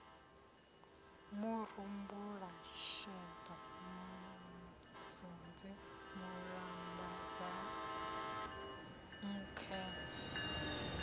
murumbulasheḓo musunzi mulambadzea nkhwe na